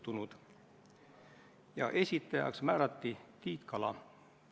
Palun võtta seisukoht ja hääletada!